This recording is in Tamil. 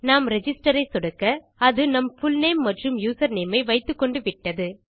நான் ரிஜிஸ்டர் ஐ சொடுக்கஅது நம் புல்நேம் மற்றும் யூசர்நேம் ஐ வைத்துக்கொண்டு விட்டது